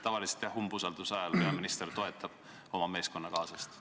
Tavaliselt, jah, umbusaldusavalduse arutamise ajal peaminister toetab oma meeskonnakaaslast.